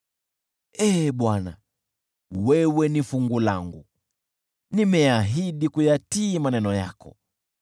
Ee Bwana , wewe ni fungu langu, nimeahidi kuyatii maneno yako.